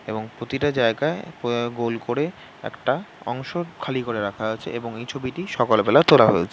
এবং প্রতিটা জায়গায় অ্যা গোল করে একটা অংশ খালি করে রাখা আছে এবং এই ছবিটি সকালবেলা তোলা হয়েছে।